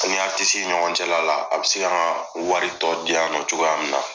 I ni aritisi ɲɔgɔn cɛla la a bɛ se ka an ka waritɔ diya yan nɔ cogoya min na